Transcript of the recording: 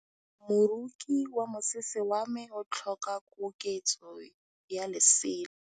Moroki wa mosese wa me o tlhoka koketsô ya lesela.